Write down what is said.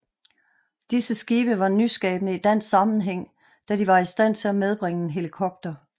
Disse skibe var nyskabende i dansk sammenhæng da de var i stand til at medbringe en helikopter